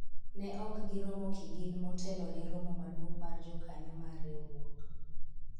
ne ok giromo kigin motelo ne romo maduong' mar jokanyo mar riwruok